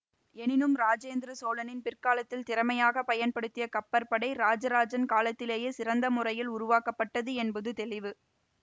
எனினும் இராஜேந்திர சோழன் பிற்காலத்தில் திறமையாக பயன்படுத்திய கப்பற்படை இராஜராஜன் காலத்திலேயே சிறந்த முறையில் உருவாக்கப்பட்டது என்பது தெளிவு